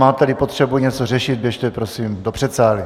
Máte-li potřebu něco řešit, běžte prosím do předsálí.